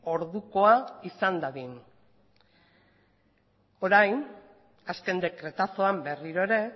ordukoa izan dadin orain azken dekretazoan berriro ere